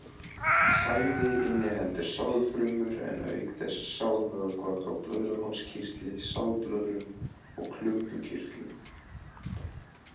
Sæði inniheldur sáðfrumur en auk þess sáðvökva frá blöðruhálskirtli, sáðblöðrum og klumbukirtlum.